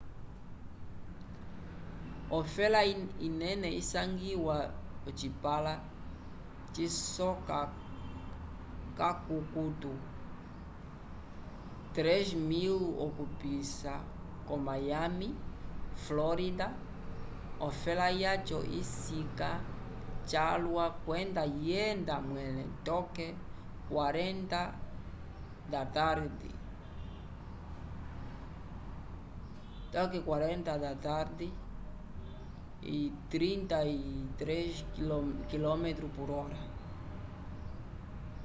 ofela inene isangiwa ocipãla cisoka k’akukutu 3.000 okupisa ko mayami florida ofela yaco isika calwa kwenda yenda mwẽle toke 40 mph 64 km/h